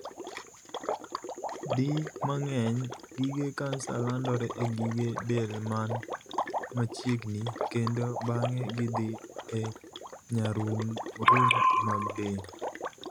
Di mang'eny, gige kansa landore e gige del man machiegni kendo bang'e gidhii e nyarung'rung' mag del.